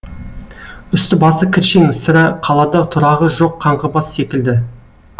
үсті басы кіршең сірә қалада тұрағы жоқ қаңғыбас секілді